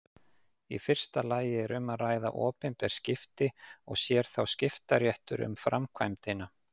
Í fyrsta lagi er um að ræða opinber skipti og sér þá skiptaréttur um framkvæmdina.